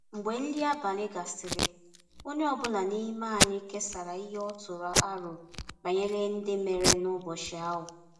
Mgbe nri abalị gasịrị, onye ọ bụla n’ime anyị kesara ihe ọ tụrụ aro banyere ihe ndị mere n’ụbọchị ahụ.